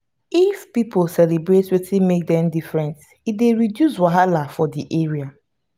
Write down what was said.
if pipo celebrate wetin make dem different e dey reduce wahala for di area